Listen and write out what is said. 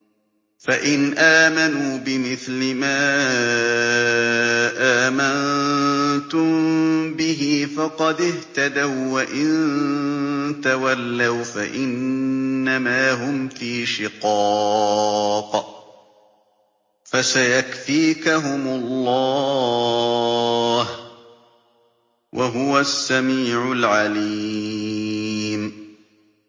فَإِنْ آمَنُوا بِمِثْلِ مَا آمَنتُم بِهِ فَقَدِ اهْتَدَوا ۖ وَّإِن تَوَلَّوْا فَإِنَّمَا هُمْ فِي شِقَاقٍ ۖ فَسَيَكْفِيكَهُمُ اللَّهُ ۚ وَهُوَ السَّمِيعُ الْعَلِيمُ